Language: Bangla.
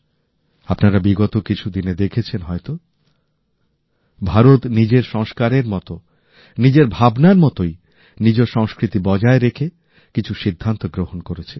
আপনারা বিগত কিছুদিনে দেখেছেন হয়ত ভারত নিজের সংস্কারের মতো নিজের ভাবনার মতই নিজ সংস্কৃতি বজায় রেখে কিছু সিদ্ধান্ত গ্রহণ করেছে